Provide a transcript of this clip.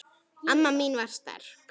Amma mín var sterk.